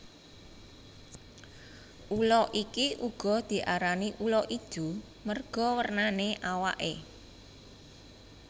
Ula iki uga diarani ula ijo merga wernane awaké